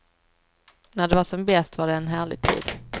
När det var som bäst var det en härlig tid.